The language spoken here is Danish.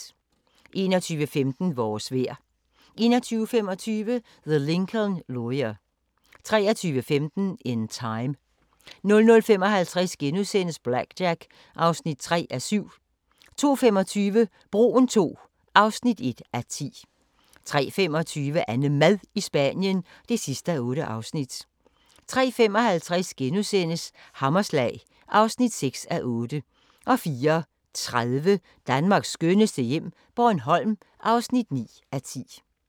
21:15: Vores vejr 21:25: The Lincoln Lawyer 23:15: In Time 00:55: BlackJack (3:7)* 02:25: Broen II (1:10) 03:25: AnneMad i Spanien (8:8) 03:55: Hammerslag (6:8)* 04:30: Danmarks skønneste hjem - Bornholm (9:10)